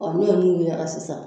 ne ye mun sisan